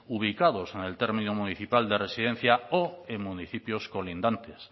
ubicados en el término municipal de residencia o en municipios colindantes